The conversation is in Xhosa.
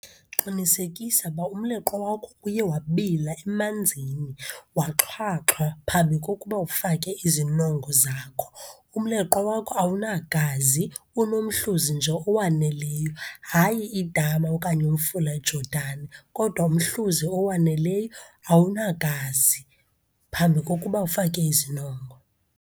Qinisekisa uba umleqwa wakho uye wabila emanzini, waxhwaxhwa phambi kokuba ufake izinongo zakho. Umleqwa wakho awunagazi, unomhluzi nje owaneleyo, hayi idama okanye umfula eJodani, kodwa umhluzi owaneleyo awunagazi phambi kokuba ufake izinongo.